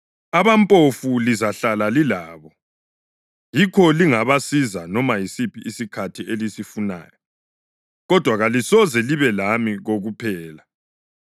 Abampofu lizahlala lilabo, yikho lingabasiza noma yisiphi isikhathi elisifunayo. Kodwa kalisoze libe lami kokuphela.